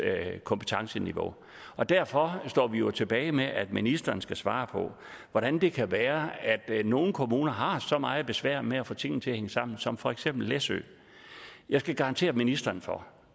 kompetenceniveau derfor står vi jo tilbage med at ministeren skal svare på hvordan det kan være at nogle kommuner har så meget besvær med at få tingene til at hænge sammen som for eksempel læsø jeg kan garantere ministeren for